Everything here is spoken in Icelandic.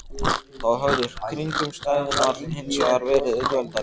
Þá höfðu kringumstæðurnar hins vegar verið auðveldari.